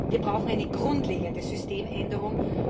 Wir brauchen eine grundlegende Systemänderung.